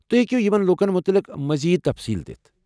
تُہۍ ہیٚکو یمن لوٗکن متعلق مزید تفصیل دِتھ؟